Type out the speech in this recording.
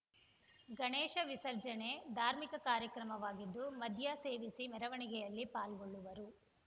ಗಣೇಶ ವಿಸರ್ಜನೆ ಧಾರ್ಮಿಕ ಕಾರ್ಯಕ್ರಮವಾಗಿದ್ದು ಮದ್ಯ ಸೇವಿಸಿ ಮೆರವಣಿಗೆಯಲಿ ಪಾಲ್ಗೊಳ್ಳುವವರು